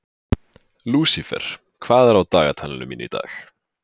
Lúsifer, hvað er á dagatalinu mínu í dag?